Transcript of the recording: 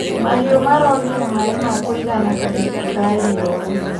Mahiũ maronire maĩ ma kũigana kahinda ka riũa.